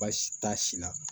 Baasi t'a si la